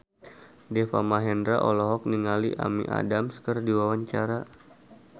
Deva Mahendra olohok ningali Amy Adams keur diwawancara